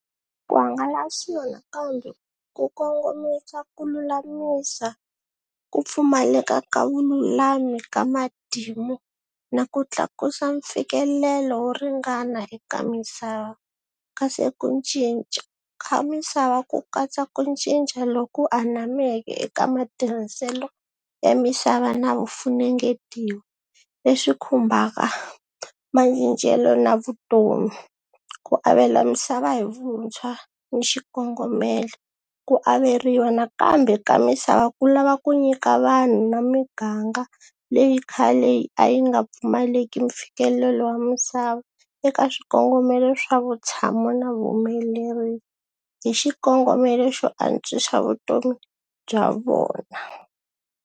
Ku hangalasiwa nakambe ku kongomisa ku lulamisa ku pfumaleka ka vululami ka matimu na ku tlakusa mfikelelo wo ringana eka misava, kasi ku ncinca ka misava ku katsa ku cinca loku anameke eka matirhiselo ya misava na vufungetiwa leswi khumbaka macincelo na vutomi, ku avela misava hi vuntshwa ni xikongomelo, ku averiwa nakambe ka misava ku lava ku nyika vanhu na miganga leyi khale a yi nga pfumaleki mfikelelo wa misava eka swikongomelo swa vutshamo na vuhumeleri hi xikongomelo xo antswisa vutomi bya vona.